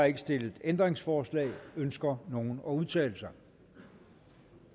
ikke stillet ændringsforslag ønsker nogen at udtale sig